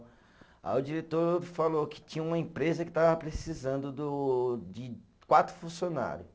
Aí o diretor falou que tinha uma empresa que estava precisando do de quatro funcionário.